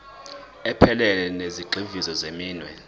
ephelele yezigxivizo zeminwe